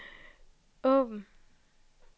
åbn